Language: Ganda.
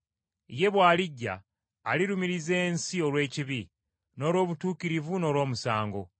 Ye bw’alijja, alirumiriza ensi olw’ekibi, n’olw’obutuukirivu n’olw’omusango,